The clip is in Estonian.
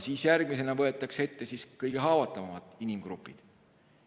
Siis järgmisena võetakse ette kõige haavatavamad inimgrupid.